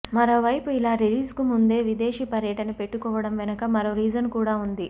మరోవైపు ఇలా రిలీజ్ కు ముందే విదేశీ పర్యటన పెట్టుకోవడం వెనక మరో రీజన్ కూడా ఉంది